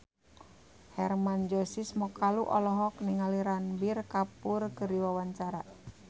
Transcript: Hermann Josis Mokalu olohok ningali Ranbir Kapoor keur diwawancara